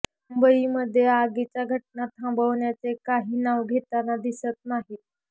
मुंबईमध्ये आगीच्या घटना थांबवण्याचे काही नाव घेताना दिसत नाहीत